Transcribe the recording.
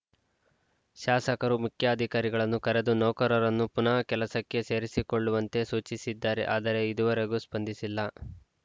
ಶಾಸಕರು ಮುಖ್ಯಾಧಿಕಾರಿಗಳನ್ನು ಕರೆದು ನೌಕರರನ್ನು ಪುನಃ ಕೆಲಸಕ್ಕೆ ಸೇರಿಸಿಕೊಳ್ಳುವಂತೆ ಸೂಚಿಸಿದ್ದಾರೆ ಆದರೆ ಇದುವರೆಗೂ ಸ್ಪಂದಿಸಿಲ್ಲ